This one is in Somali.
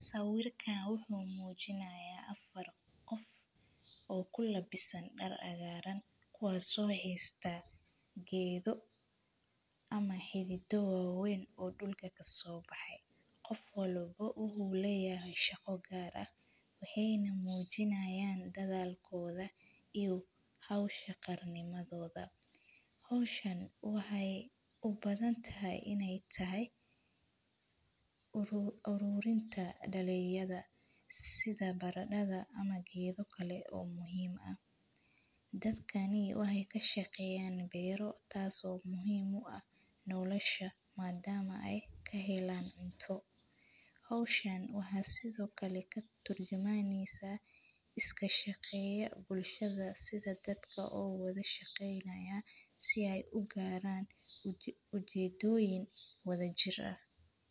Sawirkaan wuxuu muujinayaa afar qof oo kula bisan dhar cagaaran, kuwaasoo xeeista geedo ama xididowawayn oo dhulka ka soo baxay. Qof walbo ugu helayaa shaqo gaar ah. Waxeeyna muujinaayaan dadaalkooda iyo hawsha qarnimadooda. Hawshan waxay u badan tahay inay tahay uru-uruurinta dhalinyada sida baradhada ama geedo kale oo muhiima. Dadkanii waxay ka shaqeeyaan beyro taaso muhiimu ah nowlisha maadaama ay ka helaan cunto. Hawshan waxaa sidoo kale ka turjumaanaysa iska shaqeeya bulshada sida dadka oo wada shaqeeynaya si ay u gaaraan uci-ujeedooyin wada jira.